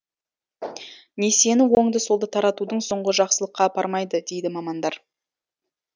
несиені оңды солды таратудың соңы жақсылыққа апармайды дейді мамандар